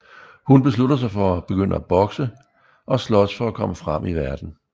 Hun beslutter sig for at begynde at bokse og slås for at komme frem i verden